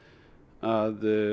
að